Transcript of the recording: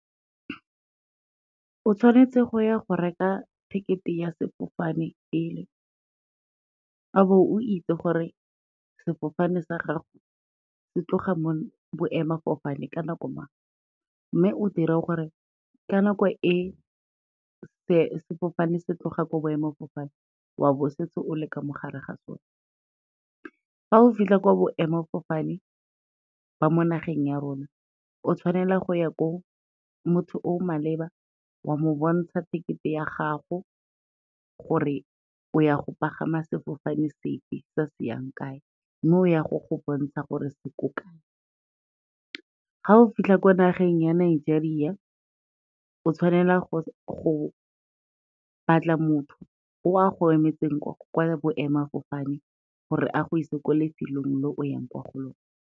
O tshwanetse go ya go reka ticket-e ya sefofane pele, a bo o itse gore sefofane sa gago se tloga mo boemafofaneng ka nako mang, mme o dire gore ka nako e sefofane se tloga ko boemafofane wa bo o setse o le ka mo gare ga sone. Fa o fitlha kwa boemafofane ba mo nageng ya rona, o tshwanela go ya ko motho o maleba wa mo bontsha tekete ya gago, gore o ya go pagama sefofane se fe, se se yang kae, mme o ya go go bontsha gore se ko kae. Ga o fitlha ko nageng ya Nigeria, o tshwanela go batla motho o a go emetseng kwa boemafofane gore a go isa ko lefelong le o yang kwa go lone.